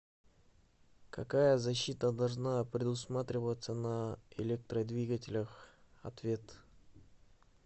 какая защита должна предусматриваться на электродвигателях ответ